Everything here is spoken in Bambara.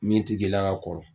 Min ti k'i la ka kɔrɔ.